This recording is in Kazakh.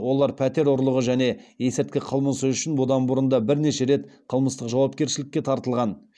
олар пәтер ұрлығы және есірткі қылмысы үшін бұдан бұрын да бірнеше рет қылмыстық жауапкершілікке тартылған